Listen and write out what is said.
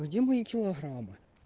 где мои килограммы